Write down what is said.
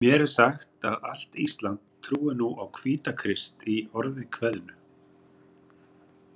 Mér er sagt að allt Ísland trúi nú á Hvítakrist, í orði kveðnu.